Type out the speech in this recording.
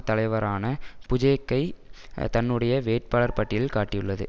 தலைவரான புஜேக்கைத் தன்னுடைய வேட்பாளர் பட்டியலில் காட்டியுள்ளது